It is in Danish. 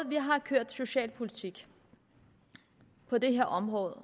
vi har ført socialpolitik på det her område